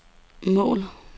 mål